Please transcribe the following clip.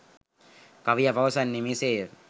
කවියා පවසන්නේ මෙසේ ය.